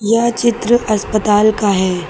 यह चित्र अस्पताल का है।